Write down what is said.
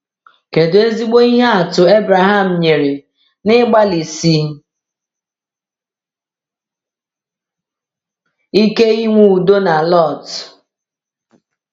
Kedu ezigbo ihe atụ Abraham nyere n’ịgbalịsi ike inwe udo na Lot?